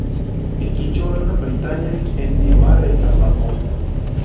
Ikkinchi o‘rinni britaniyalik Endi Marrey saqlab qoldi.